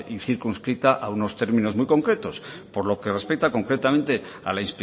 y circunscrita a unos términos muy concretos por lo que respecta concretamente a la